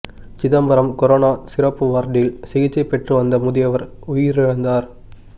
Chidambaram corona சிறப்பு வார்டில் சிகிச்சை பெற்று வந்த முதியவர் உயிரிழந்தார்